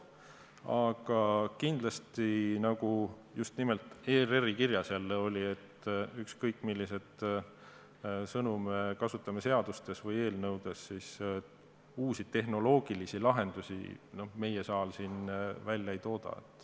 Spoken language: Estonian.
Aga kindlasti, nagu just nimelt ERR-i kirjas jälle oli, et ükskõik milliseid sõnu me kasutame seadustes või eelnõudes, uusi tehnoloogilisi lahendusi meie saal siin ei tooda.